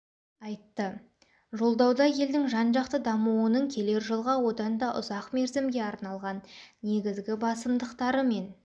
айтты жолдауда елдің жан-жақты дамуының келер жылға одан да ұзақ мерзімге арналған негізгі басымдықтары мен